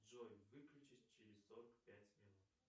джой выключись через сорок пять минут